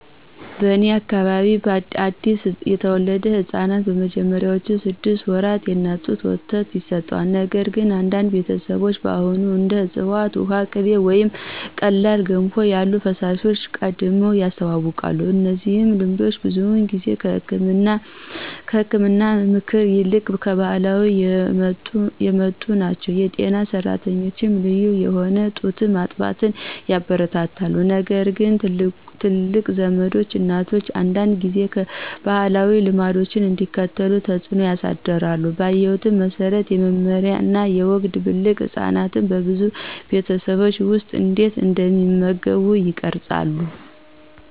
በእኔ አካባቢ አዲስ የተወለዱ ሕፃናት በመጀመሪያዎቹ ስድስት ወራት የእናት ጡት ወተት ይሰጣሉ፣ ነገር ግን አንዳንድ ቤተሰቦች አሁንም እንደ ዕፅዋት ውሃ፣ ቅቤ ወይም ቀላል ገንፎ ያሉ ፈሳሾችን ቀድመው ያስተዋውቃሉ። እነዚህ ልምዶች ብዙውን ጊዜ ከህክምና ምክር ይልቅ ከባህላዊ የመጡ ናቸው. የጤና ሰራተኞች ልዩ የሆነ ጡት ማጥባትን ያበረታታሉ ነገርግን ትላልቅ ዘመዶች እናቶች አንዳንድ ጊዜ ባህላዊ ልምዶችን እንዲከተሉ ተጽዕኖ ያሳድራሉ. ባየሁት መሰረት፣ የመመሪያ እና የወግ ድብልቅ ህጻናት በብዙ ቤተሰቦች ውስጥ እንዴት እንደሚመገቡ ይቀርጻሉ።